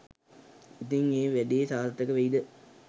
ඉතිං ඒ වැඩේ සාර්ථක වෙයිද